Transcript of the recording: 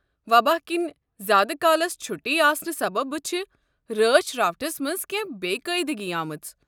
وبا کِنہِ زیٛادٕ کالس چھُٹی آسنہٕ سببہٕ چھِ رٲچھ راوٹھس منٛز كینہہ بےٚ قٲعدٕگی آمٕژ۔